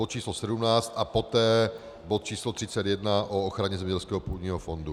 Bod číslo 17 a poté bod číslo 31 o ochraně zemědělského půdního fondu.